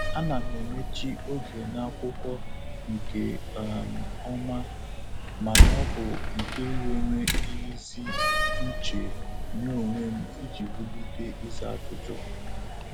A na m emechi oge n'akwụkwọ nke um ọma mana ọ bụ nke nwere ezi uche nye onwe m iji wulite ịza ajụjụ.